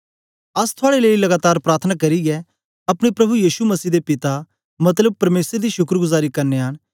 अस थुआड़े लेई लगातार प्रार्थना करियै अपने प्रभु यीशु मसीह दे पिता मतलब परमेसर दी शुक्रगुजारी करनयां न